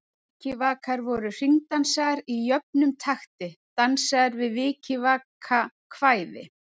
Vikivakar voru hringdansar í jöfnum takti, dansaðir við vikivakakvæði.